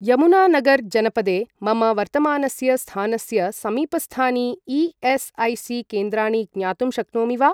यमुनानगर् जनपदे मम वर्तमानस्य स्थानस्य समीपस्थानि ई.एस.ऐ.सी. केन्द्राणि ज्ञातुं शक्नोमि वा?